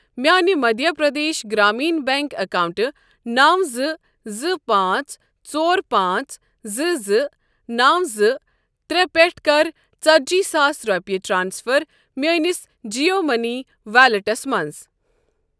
میانہِ مٔدھیہ پرٛدیش گرٛامیٖن بیٚنٛک اکاونٹہٕ نَو زٕ زٕ پانٛژھ ژور پانژٛھ زٕ زٕ نَو زٕ ترٛےٚ پٮ۪ٹھ کر ژَتجی ساس رۄپیہِ ٹرانسفر میٲنِس جِیو مٔنی ویلیٹَس مَنٛز۔